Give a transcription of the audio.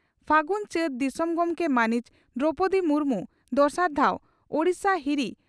ᱯᱷᱟᱹᱜᱩᱱᱼᱪᱟᱹᱛ, ᱫᱤᱥᱚᱢ ᱜᱚᱢᱠᱮ ᱢᱟᱹᱱᱤᱡ ᱫᱨᱚᱣᱯᱚᱫᱤ ᱢᱩᱨᱢᱩ ᱫᱚᱥᱟᱨ ᱫᱷᱟᱣ ᱳᱰᱤᱥᱟ ᱦᱤᱨᱤ